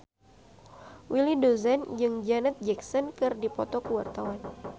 Willy Dozan jeung Janet Jackson keur dipoto ku wartawan